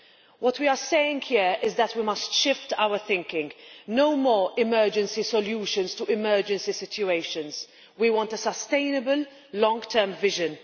What we are saying here is that we must shift our thinking no more emergency solutions to emergency situations. We want a sustainable long term vision.